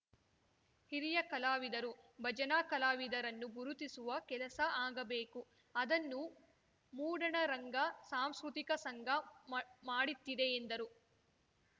ಹಿರಿಯ ಕಲಾವಿದರು ಭಜನಾ ಕಲಾವಿದರನ್ನು ಗುರುತಿಸುವ ಕೆಲಸ ಆಗಬೇಕು ಅದನ್ನು ಮೂಡಣರಂಗ ಸಾಂಸ್ಕೃತಿಕ ಸಂಘ ಮಾ ಮಾಡಿತ್ತಿದೆ ಎಂದರು